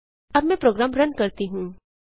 अब मैं program run करती हूँ